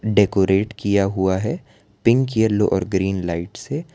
decorate किया हुआ है पिंक येल्लो और ग्रीन लाइट से --